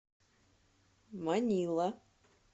манила